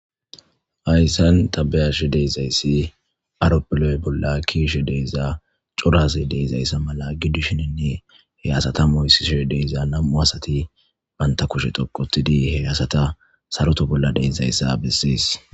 Haysan ta be'ashe dizays arophile bolla kezishe diza cora asa y de'izaysa mala gidishninne he asata moyishe diz nam'u asati banta kushe dhoqu otid he asata saroto bolla de'izaysa beses.